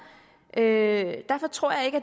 derfor tror jeg ikke